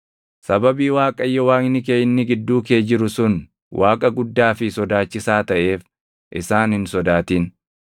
Sababii Waaqayyo Waaqni kee inni gidduu kee jiru sun Waaqa guddaa fi sodaachisaa taʼeef isaan hin sodaatin.